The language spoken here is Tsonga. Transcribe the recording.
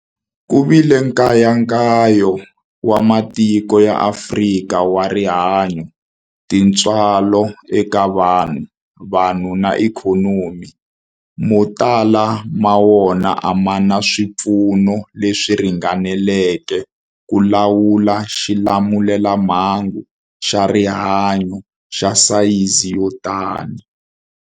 Ku vile nkayakayo wa matiko ya Afrika wa rihanyu, tintswalo eka vanhu, vanhu na ikhonomi, mo tala ma wona a ma na swipfuno leswi ringaneleke ku lawula xilamulelamhangu xa rihanyu xa sayizi yo tani.